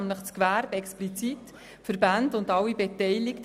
Besonders freut es das Gewerbe und die Verbände.